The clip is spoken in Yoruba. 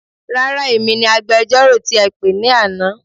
Rárá, èmi ni agbẹjọ́rò tí ẹ pè ní àná.